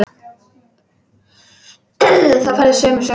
Þá færðu sömu söguna.